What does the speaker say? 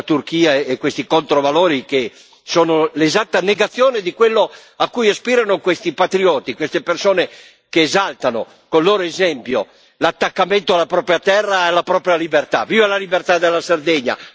Quindi stiamo fuori, teniamo fuori la Turchia e questi controvalori che sono l'esatta negazione di quello a cui aspirano questi patrioti, queste persone che esaltano con il loro esempio l'attaccamento alla propria terra, alla propria libertà.